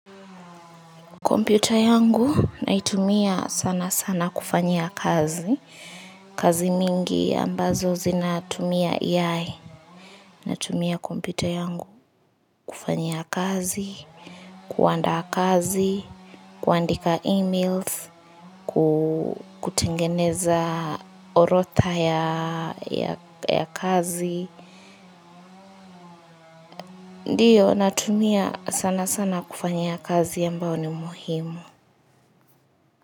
Kompyuta yangu naitumia sana sana kufanyia kazi, kazi mingi ambazo zinatumia yae, natumia kompita yangu kufanyia kazi, kuandaa kazi, kuandika emails, kutengeneza orodha ya kazi, ndiyo natumia sana sana kufanyia kazi ambayo ni muhimu.